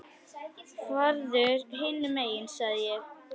Farðu hinum megin sagði ég.